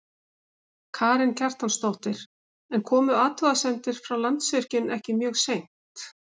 Karen Kjartansdóttir: En komu athugasemdir frá Landsvirkjun ekki mjög seint?